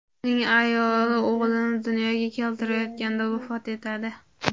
Uning ayoli o‘g‘lini dunyoga keltirayotganda vafot etadi.